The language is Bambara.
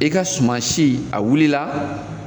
I ka suman si a wulila.